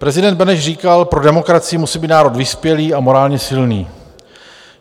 Prezident Beneš říkal: pro demokracii musí být národ vyspělý a morálně silný.